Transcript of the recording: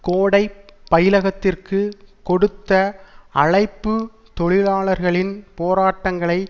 கோடைப் பயிலகத்திற்கு கொடுத்த அழைப்பு தொழிலாளர்களின் போராட்டங்களை